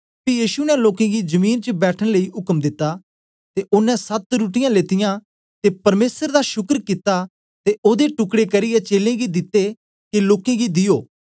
पी यीशु ने लोकें गी जमीन च बैठन लेई उक्म दिता ते ओनें सत रुट्टीयाँ लेतीयां ते पर्मेसरे दा शुकर कित्ता ते ओदे टुकड़े करियै चेलें गी दिते के लोकें गी दियो